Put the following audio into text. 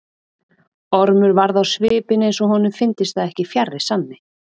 Ormur varð á svipinn eins og honum fyndist það ekki fjarri sanni.